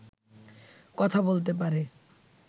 কথা বলতে পারে